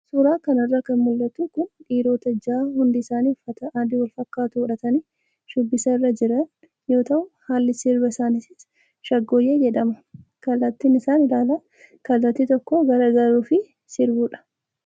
Suuraa kanarraa kan mul'atu kun dhiirota jaha hundi isaanii uffata adii walfaakkatu godhatanii shubbisa irra jiran yoo ta'u, haalli sirba isaaniinis shaggooyyee jedhama. Kallaattiin isaan ilaalan kallattii tokko garagaluu fi sirbuudha.